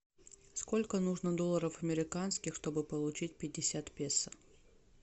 сколько нужно долларов американских чтобы получить пятьдесят песо